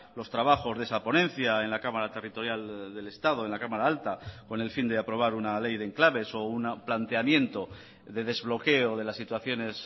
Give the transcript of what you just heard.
los trabajos de esa ponencia en la cámara territorial del estado en la cámara alta con el fin de aprobar una ley de enclaves o un planteamiento de desbloqueo de las situaciones